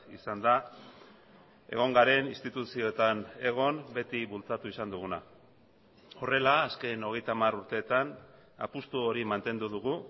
izan da egon garen instituzioetan egon beti bultzatu izan duguna horrela azken hogeita hamar urteetan apustu hori mantendu dugu